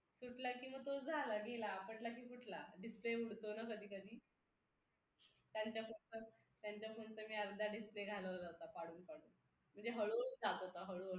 तुटला की मग तो झाला गेला पडला की फुटला display उडतो ना कधी कधी त्यांच्या फोनचा मी अर्धा display घालवला होता पाडून पाडून म्हणजे हळूहळू जात होता हळूहळू